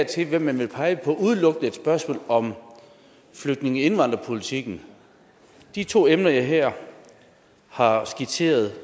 til hvem man vil pege på udelukkende et spørgsmål om flygtninge og indvandrerpolitikken de to emner jeg her har skitseret